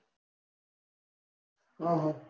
આહ